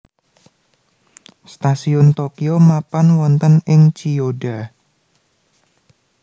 Stasiun Tokyo mapan wonten ing Chiyoda